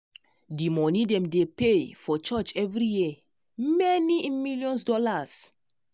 d moni dem dey pay for church every year many in millions dollars